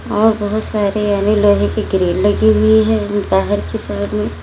और बहोत सारे अन्य लोहे की ग्रील लगी हुई है बाहर के साइड में--